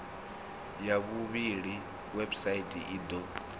ya vhuvhili website i do